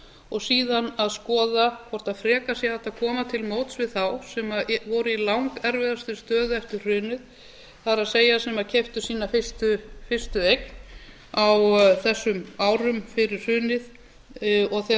og síðan að skoða hvort frekar sé hægt að koma til móts við þá sem voru í langerfiðastri stöðu eftir hrunið það er sem keyptu sína fyrstu eign á þessum árum fyrir hrunið og þegar